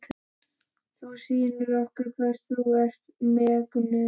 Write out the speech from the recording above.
Þú sýnir honum hvers þú ert megnug.